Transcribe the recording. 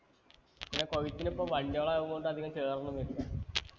പിന്നെ കൊയ്‌ത്തിനിപ്പോ വണ്ടികളായൊണ്ട് അധികം ചേറൊന്നും വരില്ല